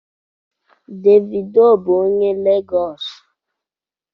Davido bụ onye Legọọsị.